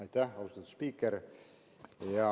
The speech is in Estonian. Aitäh, austatud spiiker!